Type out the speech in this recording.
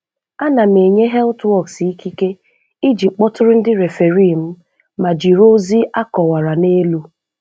A na m enye HealthWORKS ìkìké iji kpọtụrụ ndị referee m, ma jiri ozi akọ́wara n’elu.